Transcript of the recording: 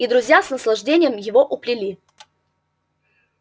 и друзья с наслаждением его уплели